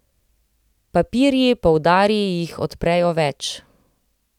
Papirji, poudari, jih odprejo več.